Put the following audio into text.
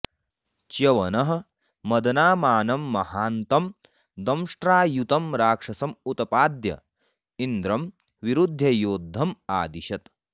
च्यवनः मदनामानं महान्तं दंष्ट्रायुतं राक्षसम् उत्पाद्य इन्द्रं विरुध्य योद्धम् आदिशत्